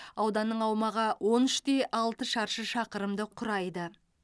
ауданның аумағы он үш те алты шаршы шақырымды құрайды